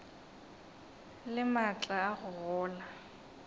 le maatla a go gola